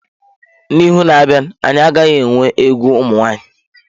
Na ihu na-abịa anyị agaghị enwe egwu ụmụ nwaanyị.